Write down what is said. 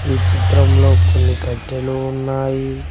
ఈ చిత్రంలో కొన్ని కట్టెలు ఉన్నాయి.